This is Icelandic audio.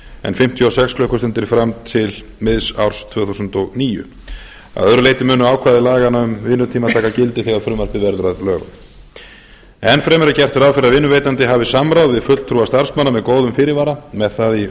en fimmtíu og sex klukkustundir fram til miðs árs tvö þúsund og níu að öðru leyti munu ákvæði laganna um vinnutíma taka gildi þegar frumvarpið verður að lögum enn fremur er gert ráð fyrir að vinnuveitandi hafi samráð við fulltrúa starfsmanna með góðum fyrirvara með það í